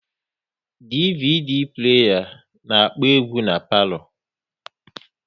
DVD pleya na-akpọ egwu n'palo